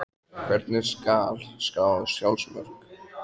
Hvernig skal skrá sjálfsmörk?